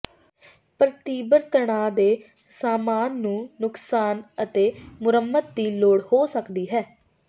ਪਰ ਤੀਬਰ ਤਣਾਅ ਦੇ ਸਾਮਾਨ ਨੂੰ ਨੁਕਸਾਨ ਅਤੇ ਮੁਰੰਮਤ ਦੀ ਲੋੜ ਹੋ ਸਕਦੀ ਹੈ